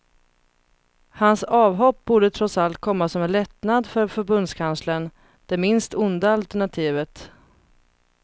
Hans avhopp borde trots allt komma som en lättnad för förbundskanslern; det minst onda alternativet.